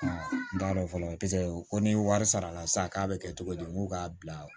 N t'a dɔn fɔlɔ paseke ko ni wari sara la sa k'a bɛ kɛ cogo di n ko k'a bila